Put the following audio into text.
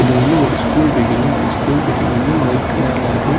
இது வந்து ஒரு ஸ்கூல் பில்டிங்கு இந்த ஸ்கூல் பில்டிங் வந்து ஒயிட் கலர்ல இருக்கு.